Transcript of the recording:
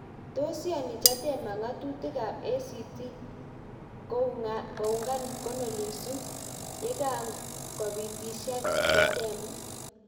Tos iyani Chadema ng'atutik ab ACT koungan mkono Lissu yekagopitisyan Chadema?